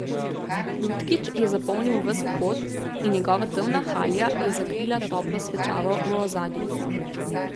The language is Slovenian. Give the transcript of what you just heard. Lutkič je zapolnil ves vhod in njegova temna halja je zakrila toplo svečavo v ozadju.